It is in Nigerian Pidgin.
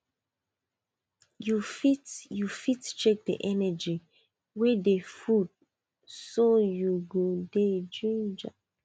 you fit you fit check the energy wey dey food so you go dey ginger